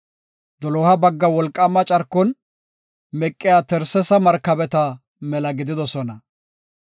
Doloha bagga wolqaama carkon meqiya Tarsesa markabeta mela gididosona.